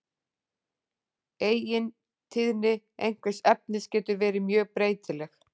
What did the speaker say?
Eigintíðni einhvers efnis getur verið mjög breytileg.